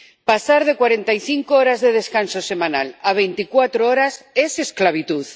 Pasar de cuarenta y cinco horas de descanso semanal a veinticuatro horas es esclavitud.